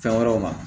Fɛn wɛrɛw ma